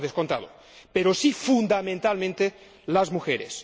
No, por descontado, pero sí fundamentalmente las mujeres.